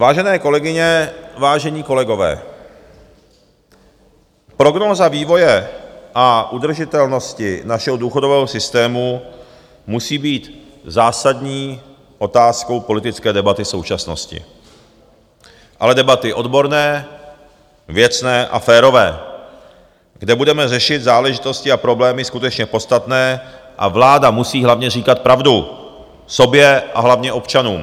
Vážené kolegyně, vážení kolegové, prognóza vývoje a udržitelnosti našeho důchodového systému musí být zásadní otázkou politické debaty současnosti, ale debaty odborné, věcné a férové, kde budeme řešit záležitosti a problémy skutečně podstatné, a vláda musí hlavně říkat pravdu sobě a hlavně občanům.